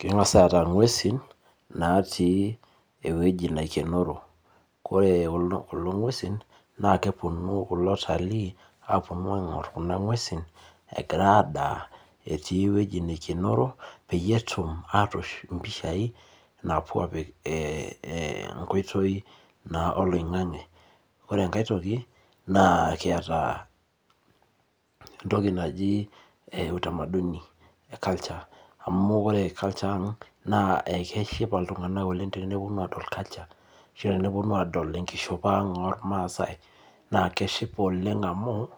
Keng'as aata nguesin natii ewueji naikenoro. Ore kulo nguesin, naa kepuonu kulo watalii aapuonu aing'or, Kuna nguesin egira adaa, etii ewueji neikenoro, peyie etum atoosh mpishai, ee enkoitoi naa oloingang'e, ore enkae toki naa, ekiata, entoki naji utamaduni, culture amu ore culture ang', naa ekeshipa iltunganak oleng. Tenepuonu aadol culture ashu tenepuonu aadol enkishopo ang' oormaasae, naa keshipa oleng amu,